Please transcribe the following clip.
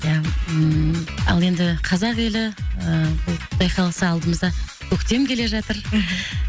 ия ммм ал енді қазақ елі ііі құдай қаласа алдымызда көктем келе жатыр мхм